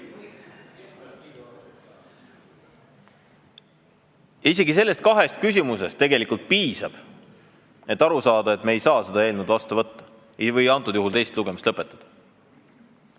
Ja isegi nendest kahest küsimusest tegelikult piisab, et aru saada, et me ei tohiks seda eelnõu vastu võtta ja täna teist lugemist lõpetada.